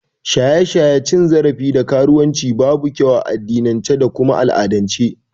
Shaye-shaye, cin zarafi da karuwan ci babu kyau a addinince da kuma al'adance